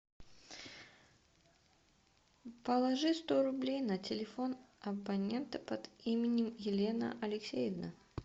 положи сто рублей на телефон абонента под именем елена алексеевна